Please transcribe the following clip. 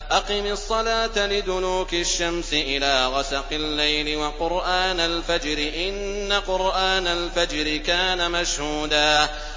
أَقِمِ الصَّلَاةَ لِدُلُوكِ الشَّمْسِ إِلَىٰ غَسَقِ اللَّيْلِ وَقُرْآنَ الْفَجْرِ ۖ إِنَّ قُرْآنَ الْفَجْرِ كَانَ مَشْهُودًا